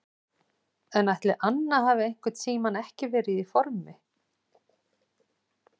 En ætli Anna hafi einhvern tímann ekki verið í formi?